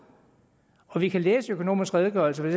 og vi kan læse i økonomisk redegørelse